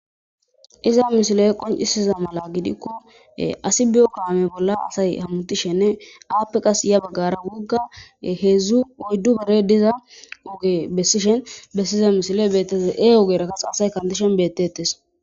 iza mishile qoncisiza mala gidikko asi biyo kaame bolla asay hammutishenne aappe qas ya baggara wugga heedzdzu oyddu bere diza oge bessishen bessiza misile beettezee ogerakas asay kantishen beettetes